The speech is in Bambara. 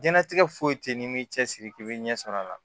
Diɲɛnatigɛ foyi teyi n'i m'i cɛsiri k'i bɛ ɲɛsɔrɔ a la